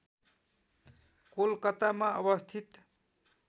कोलकातामा अवस्थित